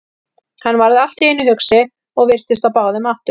Hann varð allt í einu hugsi og virtist á báðum áttum.